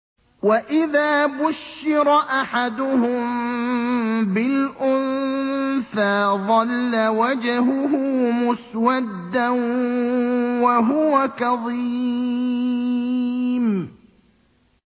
وَإِذَا بُشِّرَ أَحَدُهُم بِالْأُنثَىٰ ظَلَّ وَجْهُهُ مُسْوَدًّا وَهُوَ كَظِيمٌ